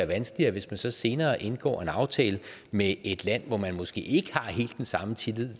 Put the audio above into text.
vanskeligt hvis man så senere indgår en aftale med et land hvor man måske ikke har helt den samme tillid